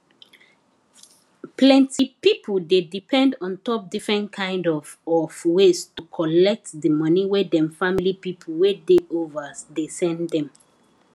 plenty pipo dey depend on top different kain of of ways to collect di moni wey dem family pipo wey dey overs dey send dem